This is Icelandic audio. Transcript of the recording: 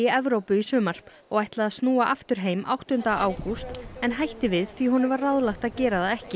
Evrópu í sumar og ætlaði að snúa aftur heim áttunda ágúst en hætti við því honum var ráðlagt að gera það ekki